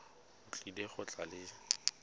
o tlile go tla le